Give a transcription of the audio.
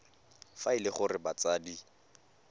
fa e le gore batsadi